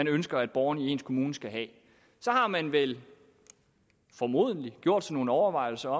ønsker at borgerne i en kommune skal have så har man vel formodentlig gjort sig nogle overvejelser